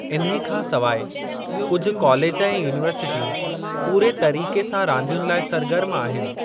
इन्हे खां सवाइ, कुझु कालेज ऐं युनिवर्सिटीयूं पूरे तरीक़े सां रांदियुनि लाइ सरगर्म आहिनि।